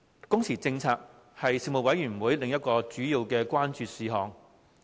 工時政策為事務委員會另一主要關注事項。